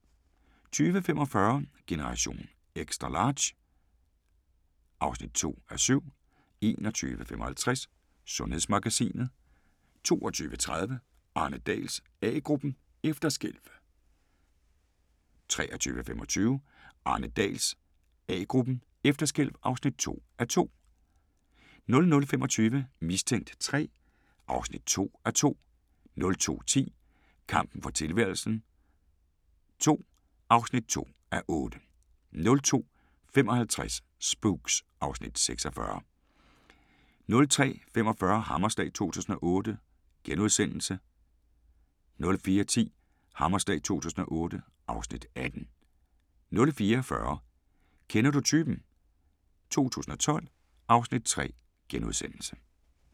20:45: Generation XL (2:7) 21:55: Sundhedsmagasinet 22:30: Arne Dahls A-gruppen: Efterskælv 23:25: Arne Dahls A-gruppen: Efterskælv (2:2) 00:25: Mistænkt 3 (2:2) 02:10: Kampen for tilværelsen II (2:8) 02:55: Spooks (Afs. 46) 03:45: Hammerslag 2008 * 04:10: Hammerslag 2008 (Afs. 18) 04:40: Kender du typen? 2012 (Afs. 3)*